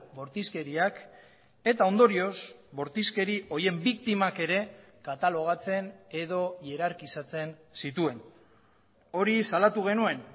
bortizkeriak eta ondorioz bortizkeri horien biktimak ere katalogatzen edo ierarkizatzen zituen hori salatu genuen